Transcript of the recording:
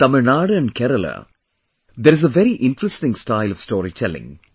In Tamilnadu and Kerala, there is a very interesting style of storytelling